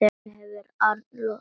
Þannig hefur Arnold alltaf verið.